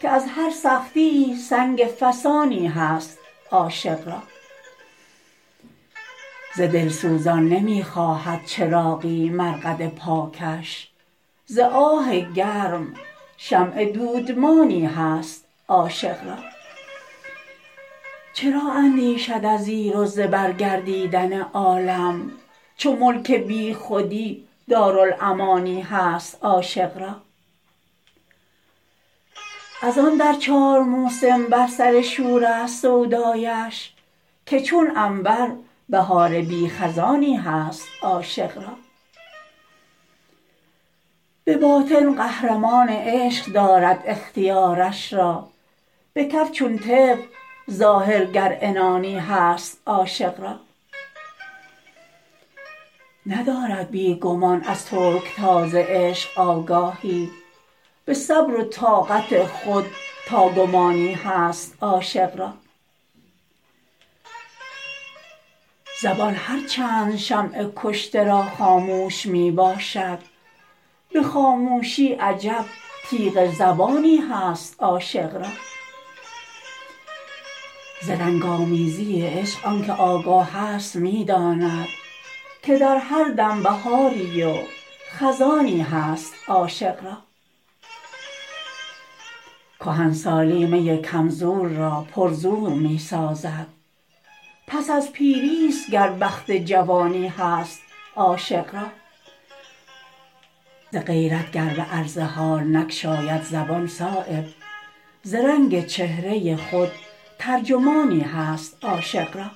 که از هر سختیی سنگ فسانی هست عاشق را ز دلسوزان نمی خواهد چراغی مرقد پاکش ز آه گرم شمع دودمانی هست عاشق را چرا اندیشد از زیر و زبر گردیدن عالم چو ملک بیخودی دارالامانی هست عاشق را ازان در چار موسم بر سر شورست سودایش که چون عنبر بهار بی خزانی هست عاشق را به باطن قهرمان عشق دارد اختیارش را به کف چون طفل ظاهر گر عنانی هست عاشق را ندارد بی گمان از ترکتاز عشق آگاهی به صبر و طاقت خود تا گمانی هست عاشق را زبان هر چند شمع کشته را خاموش می باشد به خاموشی عجب تیغ زبانی هست عاشق را ز رنگ آمیزی عشق آن که آگاه است می داند که در هر دم بهاری و خزانی هست عاشق را کهنسالی می کم زور را پر زور می سازد پس از پیری است گر بخت جوانی هست عاشق را ز غیرت گر به عرض حال نگشاید زبان صایب ز رنگ چهره خود ترجمانی هست عاشق را